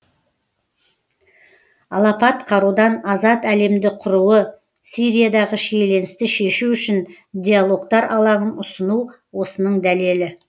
алапат қарудан азат әлемді құруы сириядағы шиеленісті шешу үшін диалогтар алаңын ұсыну осының дәлелі